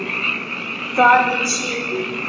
Þar við situr.